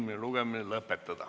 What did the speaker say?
Meie tänane istung on lõppenud.